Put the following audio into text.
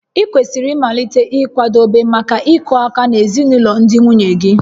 Ị kwesịrị ịmalite ịkwadebe maka ịkụ aka na ezinụlọ ndị nwunye gị